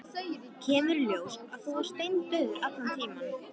Kemur í ljós að þú varst steindauður allan tímann.